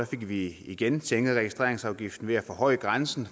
fik vi igen sænket registreringsafgiften ved at forhøje grænsen